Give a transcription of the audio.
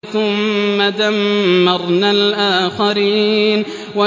ثُمَّ دَمَّرْنَا الْآخَرِينَ